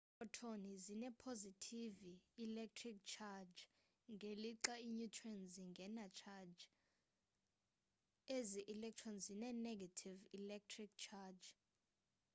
iprotoni zine positive electric charge ngelixa i neutrons zingena charge ezi electrons zine ne-gative electric charge